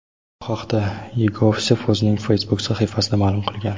Bu haqda Yegovsev o‘zining Facebook sahifasida ma’lum qilgan .